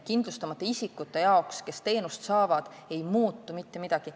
Kindlustamata isikute jaoks, kes teenust saavad, ei muutu mitte midagi.